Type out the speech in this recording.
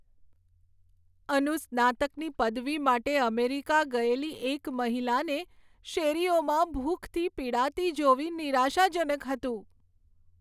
અનુસ્નાતકની પદવી માટે અમેરિકા ગયેલી એક મહિલાને શેરીઓમાં ભૂખથી પીડાતી જોવી નિરાશાજનક હતું.